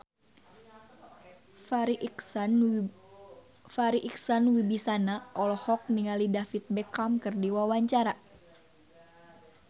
Farri Icksan Wibisana olohok ningali David Beckham keur diwawancara